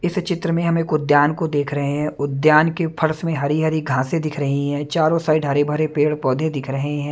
इस चित्र में हम एक उद्यान को देख रहे हैं उद्यान के फर्स में हरी हरी घासे दिख रही हैं चारों साइड हरे भरे पेड़ पौधे दिख रहे हैं।